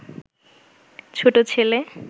ছোট ছেলে